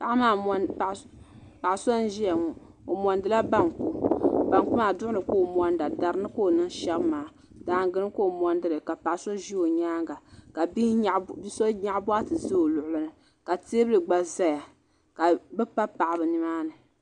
paɣ' so n ʒɛya ŋɔ o monidila bɔngu bɔngu maa duɣini k o monida darini ka o nɛŋ shɛbi maa daagini ka o monidili ka paɣ' so ʒɛ o nyɛŋa ka bihi nyɛgi bukatɛ ʒɛ o nyɛŋa ka tɛbuli gba zaya ka be pa paɣiba ni maa ni